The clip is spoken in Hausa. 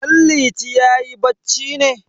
Danliti yayi bacci ne?